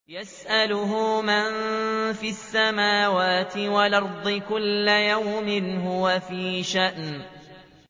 يَسْأَلُهُ مَن فِي السَّمَاوَاتِ وَالْأَرْضِ ۚ كُلَّ يَوْمٍ هُوَ فِي شَأْنٍ